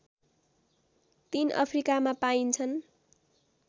तीन अफ्रिकामा पाइन्छन्